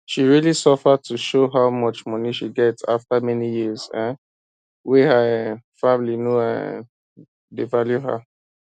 she realy suffer to show how much money she get after many years um wey her um family no um dey value her